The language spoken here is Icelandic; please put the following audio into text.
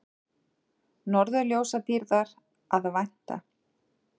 Norðurljósadýrðar að vænta